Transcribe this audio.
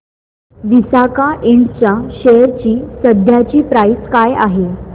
Visaka Ind च्या share ची सध्याची प्राइस काय आहे